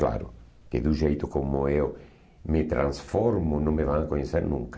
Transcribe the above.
Claro, que do jeito como eu me transformo, não me vão a conhecer nunca.